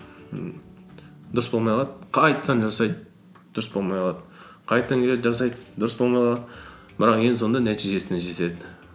ммм дұрыс болмай қалады қайтадан жасайды дұрыс болмай қалады қайтадан келеді жасайды дұрыс болмай қалады бірақ ең соңында нәтижесіне жетеді